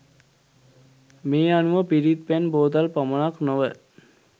මේ අනුව පිරිත් පැන් බෝතල් පමණක් නොව